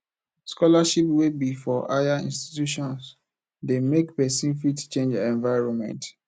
scholarship wey be for higher institutions de make persin fit change environment